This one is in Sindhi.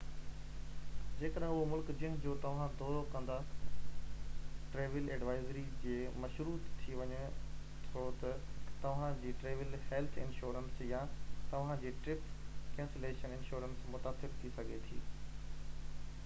جيڪڏهن اهو ملڪ جنهن جو توهان دورو ڪندا ٽريول ايڊوائزري جو مشروط ٿي وڃي ٿو ته توهان جي ٽريول هيلٿ انشورنس يا توهان جي ٽرپ ڪينسيليشن انشورنس متاثر ٿي سگهي ٿي